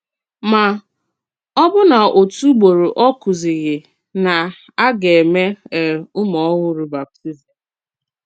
Mà, òbụ́nà òtù ùgbòrò ọ kùzìghì nà a gà-èmè um ùmù-òhùrù bàptízm.